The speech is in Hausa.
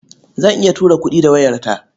Zan iya tura kuɗi da wayarta.